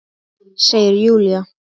Segir Júlía.